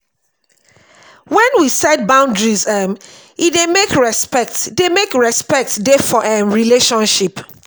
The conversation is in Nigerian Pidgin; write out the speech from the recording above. when we set boundaries um e dey make respect dey make respect dey for um relationship